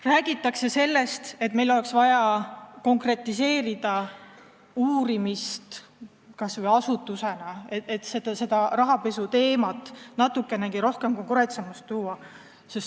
Räägitakse sellest, et oleks vaja konkretiseerida uurimist, kas või asutuse mõttes, et rahapesuteemat natukenegi konkreetsemaks muuta.